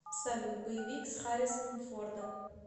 салют боевик с хариссоном фордом